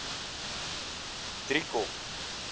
driekop